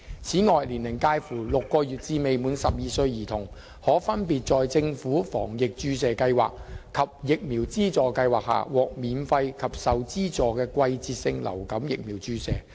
此外，年齡介乎6個月至未滿12歲兒童，可分別在政府防疫注射計劃及疫苗資助計劃下，獲免費及受資助的季節性流感疫苗注射。